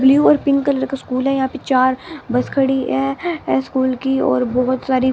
Blue और pink colour का school है यहाँ पे चार बस खड़ी है स्कूल की और बहुत सारी।